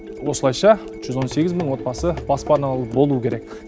осылайша жүз он сегіз мың отбасы баспаналы болуы керек